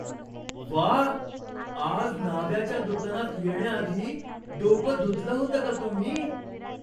व्वा! आज न्हाव्याच्या दुकानात येण्याआधी डोकं धुतलं होतं का तुम्ही?